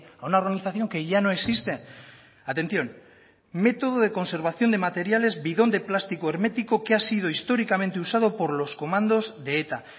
a una organización que ya no existe atención método de conservación de materiales bidón de plástico hermético que ha sido históricamente usado por los comandos de eta